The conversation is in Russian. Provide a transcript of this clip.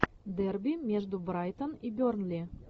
дерби между брайтон и бернли